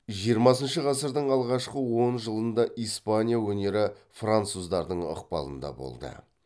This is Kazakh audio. жиырмасыншы ғасырдың алғашқы он жылында испания өнері француздардың ықпалында болды